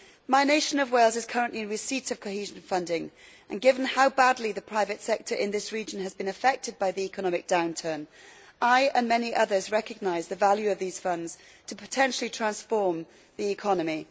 My nation of Wales is currently in receipt of cohesion funding, and given how badly the private sector in this region has been affected by the economic downturn, I and many others recognise the value of these funds to potentially transform the economy.